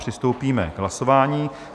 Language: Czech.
Přistoupíme k hlasování.